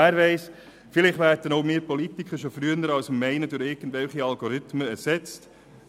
Wer weiss, vielleicht werden auch wir Politiker schon früher als Sie meinen, durch irgendwelche Algorithmen ersetzt.